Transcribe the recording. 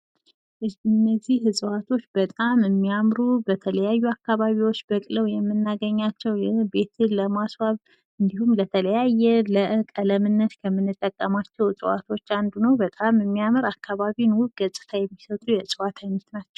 እነዚህ እፅዋቶች በጣም የሚያምሩ በተለያዩ አካባቢዎች በቅለው የምናገኛቸውቤትን ለማስዋብ እንዲሁም ተለያየ ለቀለምነት የምንጠቀማቸው እፅዋቶች አንዱ ነው። በጣም የሚያምር አካባቢንውብ ውብ ገፅታ የሚሰጡ የእፅዋት አይነት ናቸው።